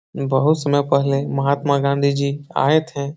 बहोत समय पहले महात्मा गाँधी जी आए थे।